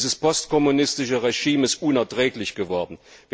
Dieses postkommunistische Regime ist unerträglich geworden.